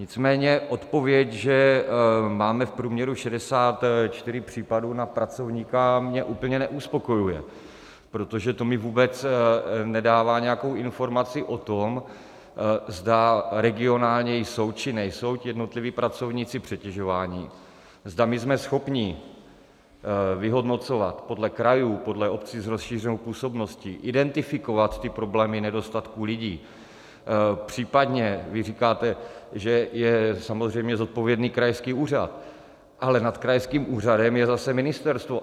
Nicméně odpověď, že máme v průměru 64 případů na pracovníka, mě úplně neuspokojuje, protože to mi vůbec nedává nějakou informaci o tom, zda regionálně jsou, či nejsou jednotliví pracovníci přetěžováni, zda my jsme schopni vyhodnocovat podle krajů, podle obcí s rozšířenou působností, identifikovat ty problémy nedostatku lidí, případně vy říkáte, že je samozřejmě zodpovědný krajský úřad, ale nad krajským úřadem je zase ministerstvo.